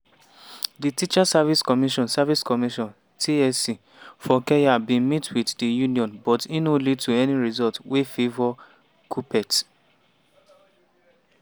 di teachers service commission service commission (tsc) for kenya bin meet wit di union but e no lead to any result wey favour kuppet.